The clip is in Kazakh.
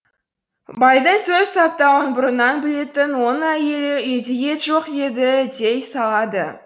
байдың сөз саптауын бұрыннан білетін оның әйелі үйде ет жоқ еді дей салады